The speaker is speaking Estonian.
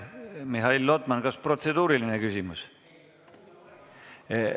Mihhail Lotman, kas on protseduuriline küsimus?